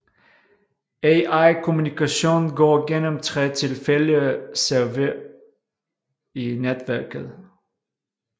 Al kommunikation går gennem tre tilfældige servere i netværket